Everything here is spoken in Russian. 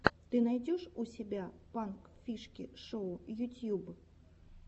ты найдешь у себя пранк фишки шоу ютьюб